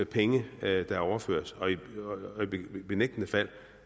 penge der er overført og i benægtende fald